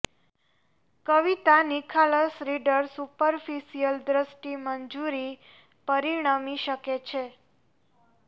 કવિતા નિખાલસ reader superficial દ્રષ્ટિ મંજૂરી પરિણમી શકે છે